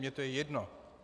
Mně je to jedno.